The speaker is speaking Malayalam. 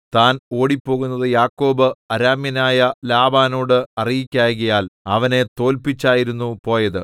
താൻ ഓടിപ്പോകുന്നതു യാക്കോബ് അരാമ്യനായ ലാബാനോടു അറിയിക്കായ്കയാൽ അവനെ തോല്പിച്ചായിരുന്നു പോയത്